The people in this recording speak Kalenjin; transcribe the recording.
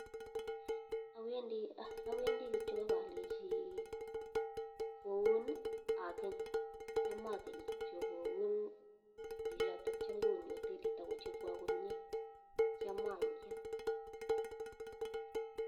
Awendii kityok akalechii koun akeny atya akenny kityok koun chichotok chamkounii hotelit akochapwaa komiee atya aib